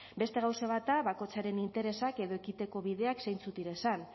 beste gauze bat da bakotzaren interesak edo ekiteko bideak zeintzuk direzan